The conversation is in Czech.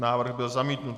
Návrh byl zamítnut.